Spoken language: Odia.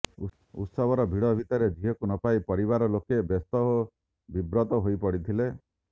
ଉତ୍ସବର ଭିଡ଼ ଭିତରେ ଝିଅକୁ ନପାଇ ପରିବାର ଲୋକେ ବ୍ୟସ୍ତ ଓ ବିବ୍ରତ ହୋଇପଡ଼ିଥିଲେ